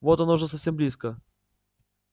вот оно уже совсем близко